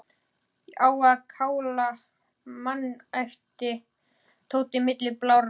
Á að kála manni æpti Tóti milli blárra vara.